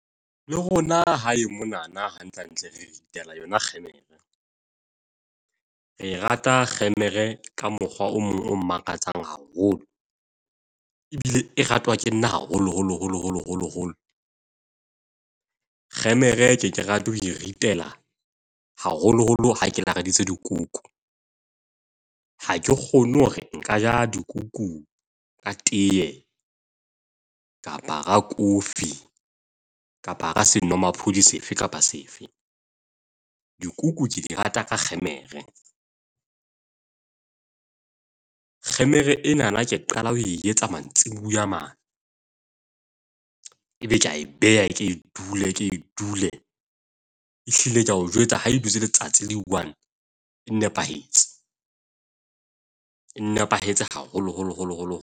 Le rona hae monana hantlehantle, re ritela yona kgemere. Re rata kgemere ka mokgwa o mong o makatsang haholo, ebile e ratwa ke nna haholoholo, holo, holo, holo holo. Kgemere ke ye ke rate ho e ritela haholoholo ha ke lakaditse dikuku. Ha ke kgone hore nka ja dikuku ka teye kapa ka coffee kapa ka senomaphodi sefe kapa sefe. Dikuku tse di rata ka kgemere. Kgemere enana ke qala ho e etsa mantsiboya mane. Ebe ke a e beha, e ke e dule, e dule. Ehlile ke a o jwetsa ha e dutse letsatsi le i-one e nepahetse. E nepahetse haholoholo holo holo.